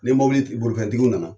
Ni mɔbili ti bolifɛntigiw nana